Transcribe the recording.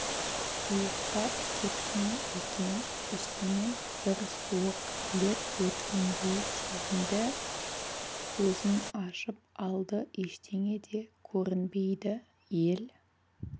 ұйықтап кеткен екен үстінен бір суық леп өткендей сезінді көзін ашып алды ештеңе де көрінбейді ел